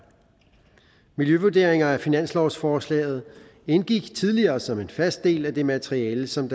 miljøvurderinger af finanslovsforslaget indgik tidligere som en fast del af det materiale som